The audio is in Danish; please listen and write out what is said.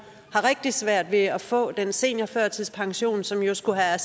rigtig svært ved at få den seniorførtidspension som jo skulle have